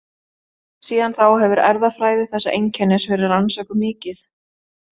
Síðan þá hefur erfðafræði þessa einkennis verið rannsökuð mikið.